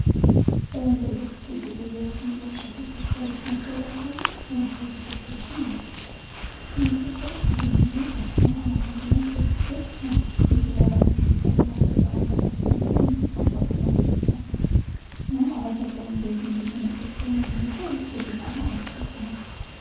በመንገድ ላይ ስትሄዱ በየቦታው የሚለጠፉ ፖስተሮችን አስተውለው ያውቃሉ? የማስታወቂያ ፖስተሮችን ማለት ነው። እነዚህ ፖስተሮች ብዙውን ጊዜ በህትመት አማካይነት ስለድርጊታቸው ማስታወቂያ መሰራት ሲፈልጉ የሚጠቀሙባቸው ነገሮች ናቸው። ሁኖም አላፊ አግዳሚውን ተመልካች ስለሚያያቸው ውጤታማ ማስረጃ ናቸው።